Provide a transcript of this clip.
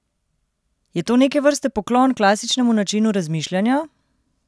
Je to neke vrste poklon klasičnemu načinu razmišljanja?